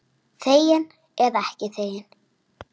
Þegin eða ekki þegin.